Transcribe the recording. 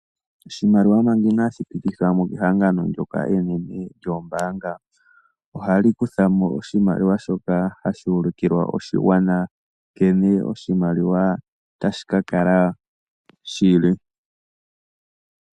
Oshimaliwa manga inashi pitithwa mo kehangano ndoka enene lyoombaanga ohali kutha mo oshimaliwa shono hashi ulikilwa oshigwana nkene oshimaliwa tashi kala shili.